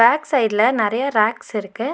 Back சைட்ல நெறைய ரேக்ஸ்ஸிருக்கு .